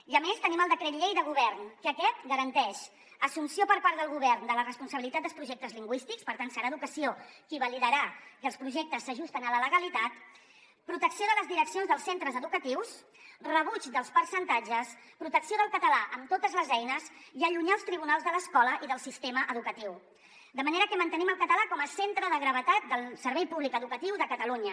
i a més tenim el decret llei de govern que aquest garanteix l’assumpció per part del govern de la responsabilitat dels projectes lingüístics per tant serà educació qui validarà que els projectes s’ajusten a la legalitat protecció de les direccions dels centres educatius rebuig dels percentatges protecció del català amb totes les eines i allunyar els tribunals de l’escola i del sistema educatiu de manera que mantenim el català com a centre de gravetat del servei públic educatiu de catalunya